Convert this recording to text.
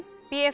b